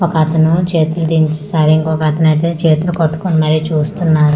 ఒకతను చేతులు దించి సరే ఇంకొకతనైతే చేతులు పట్టుకొని మరి చూస్తున్నా--